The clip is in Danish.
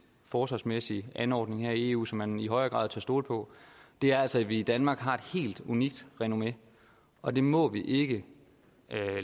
forsvarsmæssig anordning her i eu som man i højere grad tør stole på er altså at vi i danmark har et helt unikt renommé og det må vi ikke